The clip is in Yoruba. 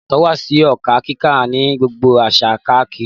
Ìyàtọ̀ wà sí òǹkà kíkà ní gbogbo àṣà káárí